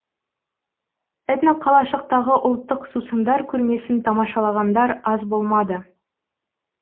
этноқалашықтағы ұлттық сусындар көрмесін тамашалағандар аз болмады